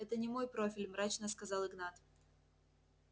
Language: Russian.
это не мой профиль мрачно сказал игнат